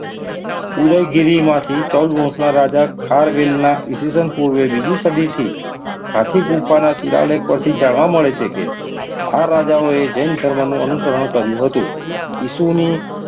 ઉદય ગીરી માંથી ચૌદ વર્ષના રાજા ખારવેલના ઈસવીસન પૂર્વે બીજી સદીથી હાથી ગુફાના શિવાલય પરથી જાણવા મળે છે કે આ રાજાઓએ જૈન ધર્મનું અનુસરણ કર્યું હતું. ઈસુની,